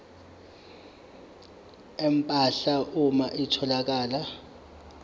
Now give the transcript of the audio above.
empahla uma kutholakala